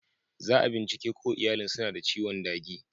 Za'a bincike ko iyalin suna da ciwon dagi.